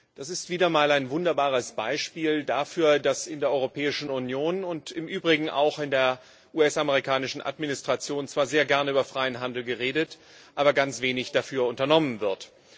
Das ist wieder mal ein wunderbares Beispiel dafür, dass in der Europäischen Union und im Übrigen auch in der US amerikanischen Administration zwar sehr gern über den freien Handel geredet, aber ganz wenig dafür unternommen wird.